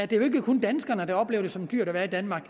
det er jo ikke kun danskerne der oplever det som dyrt at være i danmark